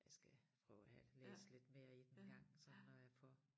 Jeg skal prøve at have læst lidt mere i den engang sådan når jeg får